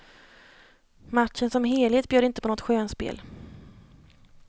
Matchen som helhet bjöd inte på något skönspel.